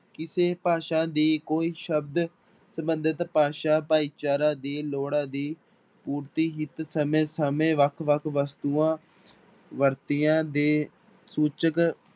ਕਿਸੇ ਭਾਸ਼ਾ ਦੀ ਕੋਈ ਸ਼ਬਦ ਸੰਬੰਧਿਤ ਭਾਸ਼ਾ ਭਾਈਚਾਰਾ ਦੀ ਲੋੜਾਂ ਦੀ ਪੁਰਤੀ ਹਿੱਤ ਸਮੇਂ ਸਮੇਂ ਵੱਖ ਵੱਖ ਵਸਤੂਆਂ ਵਰਤੀਆਂ ਦੇ ਸੂਚਕ